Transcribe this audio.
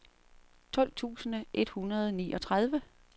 tolv tusind et hundrede og niogtredive